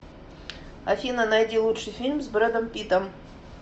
афина найди лучший фильм с брэдом питтом